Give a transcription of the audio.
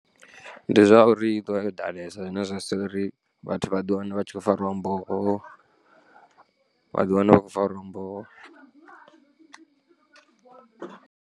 Ndi zwa uri i ḓovha yo ḓalesa zwine zwa sia uri vhathu vha ḓiwane vha tshi khou fariwa mboho vha ḓiwane vha khou fariwa mboho.